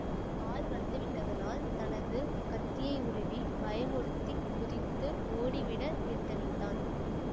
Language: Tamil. ஆள் வந்துவிட்டதனால் தனது கத்தியை உருவிப் பயமுறுத்திக் குதித்து ஓடிவிட எத்தனித்தான்